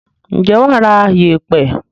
Ǹjẹ́ wà á ra yèèpẹ̀.